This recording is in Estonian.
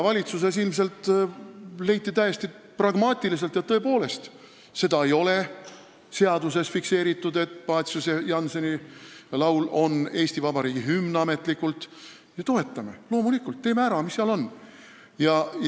Valitsuses leiti ilmselt täiesti pragmaatiliselt, et tõepoolest, seaduses ei ole fikseeritud, et Paciuse ja Jannseni laul on ametlikult Eesti Vabariigi hümn, ning me toetame, loomulikult, teeme ära, mis seal siis on.